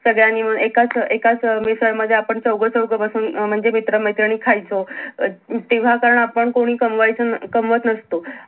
सगळ्यांनी मिळून एकाच अं एकाच अं मिसळ मध्ये आपण चौघ चौघ बसून म्हणजे मित्र मैत्रिणी खायचो अं ज जेव्हा आपण कोणी कामवायचो कमावत नसतो